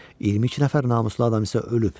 22 nəfər namuslu adam isə ölüb.